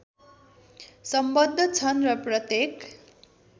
संबद्ध छन् र प्रत्येक